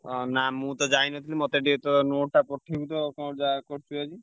ହଁ ନା ମୁଁ ତ ଯାଇନଥିଲି ମତେ ଟିକେ ତୋ note ଟା ପଠେଇବୁ ତ କଣ ଯାହା କରିଚୁ ଯଦି।